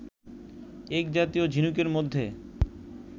এক জাতীয় ঝিনুকের মধ্যে